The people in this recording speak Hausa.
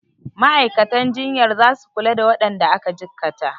Ma'aikatan jinyar zasu kula da waɗanda aka cikkata.